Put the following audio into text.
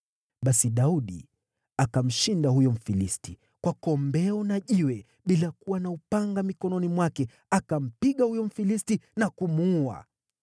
Basi Daudi akamshinda huyo Mfilisti kwa kombeo na jiwe; bila kuwa na upanga mikononi mwake akampiga huyo Mfilisti na kumuua.